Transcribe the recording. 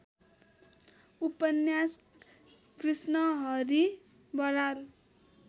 उपन्यास कृष्णहरि बराल